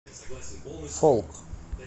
фолк